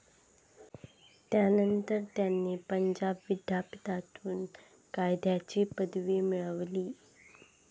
त्यानंतर त्यांनी पंजाब विद्यापीठातून कायद्याची पदवी मिळविली.